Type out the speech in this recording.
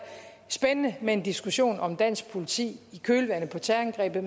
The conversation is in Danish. spændende med en diskussion om dansk politi i kølvandet på terrorangrebet